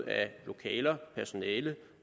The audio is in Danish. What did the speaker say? lokaler personale